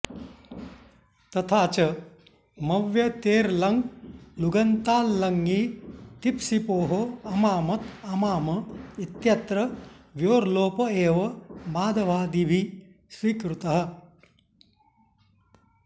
तथा च मव्यतेर्लङ्लुगन्ताल्लङि तिप्सिपोः अमामत् अमाम इत्यत्र व्योर्लोप एव माधवादिभिः स्वीकृतः